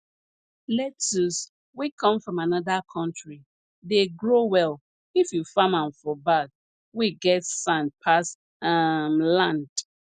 lettuce wey come from another country dey grow well if you farm am for bag wey get sand pass um land